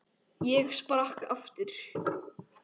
Ég sprakk aftur.